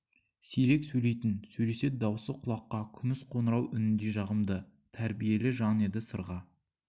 сирек сөйлейтін сөйлесе дауысы құлаққа күміс қоңырау үніндей жағымды тәрбиелі жан еді сырға